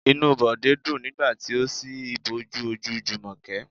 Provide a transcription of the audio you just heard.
Inú Bode dùn nígbà tí ó si ìbòjú ojú Jumoke.